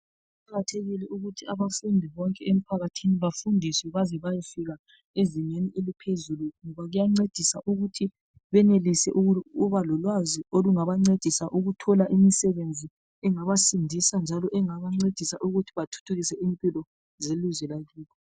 Kuqakathekile ukuthi abafundi bonke emphakathini, bafundiswe baze bayfika ezingeni leliphezulu, ngoba kuyancedisa ukuthi benelise, ukuba lolwazi ukuthi bathole imisebenzi, ongabasindisa, njalo engabancedisa ukuthi bathuthukise impilo zelizwe lakibo.